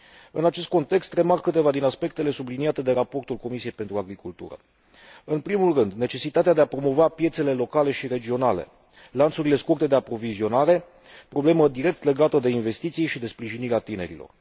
În acest context, remarc câteva din aspectele subliniate de raportul Comisiei pentru agricultură în primul rând, necesitatea de a promova piețele locale și regionale, lanțurile scurte de aprovizionare, problemă direct legată de investiții și de sprijinirea tinerilor.